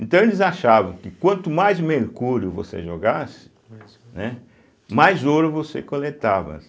Então eles achavam que quanto mais mercúrio você jogasse, mais ouro você coletava.